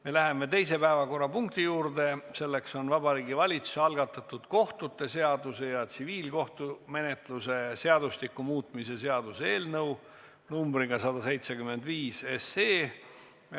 Me läheme teise päevakorrapunkti juurde, selleks on Vabariigi Valitsuse algatatud kohtute seaduse ja tsiviilkohtumenetluse seadustiku muutmise seaduse eelnõu numbriga 175.